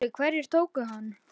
SKÚLI: Hverjir tóku hann?